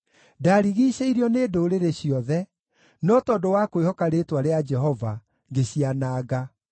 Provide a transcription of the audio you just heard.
Ndarigiicĩirio nĩ ndũrĩrĩ ciothe, no tondũ wa kwĩhoka rĩĩtwa rĩa Jehova, ngĩciananga.